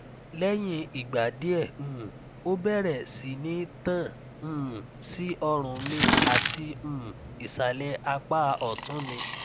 leyin igba die um o bere si ni tan um si orun mi ati um isale apa otun mi